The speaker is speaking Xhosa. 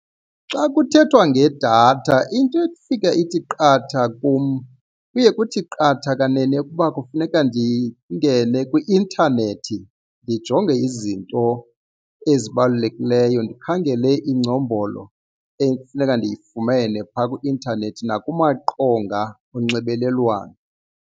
Xa kuthethwa ngedatha into efika ithi qatha kum kuye kuthi qatha kanene ukuba kufuneka ndingene kwi-intanethi ndijonge izinto ezibalulekileyo, ndikhangele iingcombolo ekufuneka ndiyifumene phaa kwi-intanethi nakumaqonga onxibelelwano.